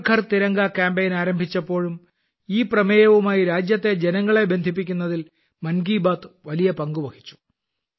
Har Ghar Tiranga campaign ആരംഭിച്ചപ്പോഴും ഈ പ്രമേയവുമായി രാജ്യത്തെ ജനങ്ങളെ ബന്ധിപ്പിക്കുന്നതിൽ മൻ കി ബാത് വലിയ പങ്കുവഹിച്ചു